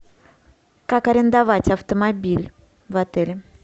как арендовать автомобиль в отеле